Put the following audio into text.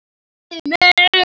Heyrðu mig.